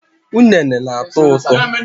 Ụnene na-atọ ụtọ